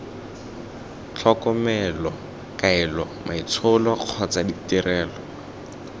tlhokomelo kaelo maitsholo kgotsa ditirelo